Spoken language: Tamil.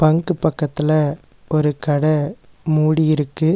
பங்க்கு பக்கத்துல ஒரு கட மூடி இருக்கு.